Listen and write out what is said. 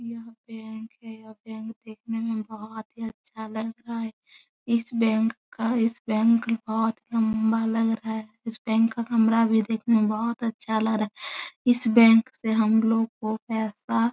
यह बैंक है। यह बैंक देखने में बोहोत अच्छा लग रहा है। इस बैंक का इस बैंक का बहोत लम्बा लग रहा है। इस बैंक का कमरा भी देखने में बहोत अच्छा लग रहा है। इस बैंक से हम लोग को पैसा --